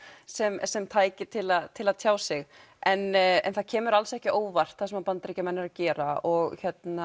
sem sem tæki til að til að tjá sig en það kemur alls ekki á óvart það sem Bandaríkjamenn eru að gera og